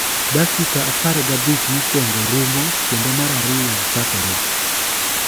Dakika apar gabich mokuoko rumo kendo mar ariyo chakore.